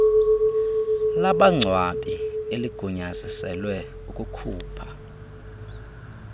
labangcwabi eligunyaziselwe ukukhupha